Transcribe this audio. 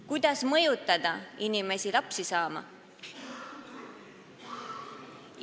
Kuidas mõjutada inimesi lapsi saama?